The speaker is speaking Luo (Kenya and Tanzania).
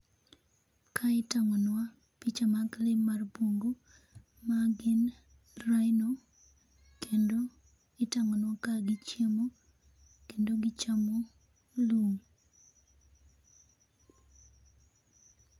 Kae itang'onwa, picha mag lee mar bungu, magin rhino, kendo, itang'onwa kagi chiemo, kendo gichamo, lum.